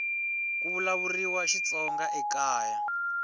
ku vulavuriwa xitsonga ekaya